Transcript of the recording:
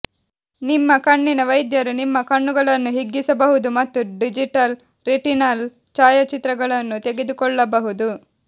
ನಿಮ್ಮ ಕಣ್ಣಿನ ವೈದ್ಯರು ನಿಮ್ಮ ಕಣ್ಣುಗಳನ್ನು ಹಿಗ್ಗಿಸಬಹುದು ಮತ್ತು ಡಿಜಿಟಲ್ ರೆಟಿನಲ್ ಛಾಯಾಚಿತ್ರಗಳನ್ನು ತೆಗೆದುಕೊಳ್ಳಬಹುದು